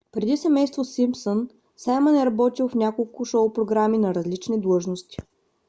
преди семейство симпсън саймън е работил в няколко шоу програми на различни длъжности